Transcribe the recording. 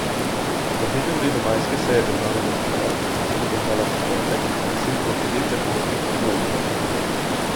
Na dnevnem redu majske seje državnega zbora, ki se bo končala v četrtek, je sicer devet zakonskih predlogov.